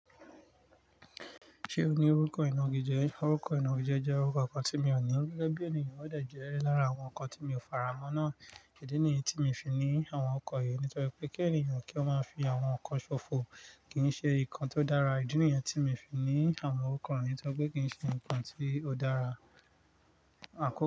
Ṣé o ní orúkọ ìna igi jẹ? Orúkọ ìna igi jẹ, jẹ́ orúkọ ọkọ tí mi ò ní, gẹ́gẹ́ bí ènìyàn ó dẹ̀ jẹ́ ẹ lára àwọn nǹkan tí mi ò faramọ́ náà. Ìdí nìyẹn tí mi fi ní àwọn ọrúkọ yìí. Nítorí pé kí ènìyàn kí ó máa fi àwọn nnkan ṣòfò kì í ṣe nǹkan tó dára. Ìdí nìyẹn tí mi fi ní àwọn orúko yìí. Nítorí pé kì í ṣe nǹkan tí ó dára.